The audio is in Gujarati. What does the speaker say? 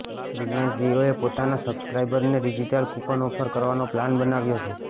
રિલાયન્સ જિયોએ પોતાના સબ્સક્રાઈબર્સને ડિજીટલ કૂપન ઓફર કરવાનો પ્લાન બનાવ્યો છે